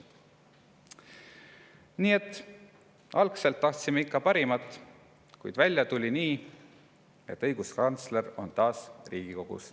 Nii et algselt tahtsime ikka parimat, kuid välja tuli nii, et õiguskantsler on taas Riigikogus.